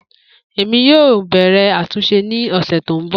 Emi yoo bẹrẹ atunṣe ni ọsẹ to nbọ.